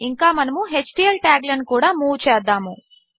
ఇంకామనము HTML టాగ్లనుకూడామూవ్చేద్దాము